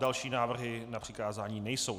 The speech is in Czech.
Další návrhy na přikázání nejsou.